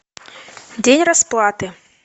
день расплаты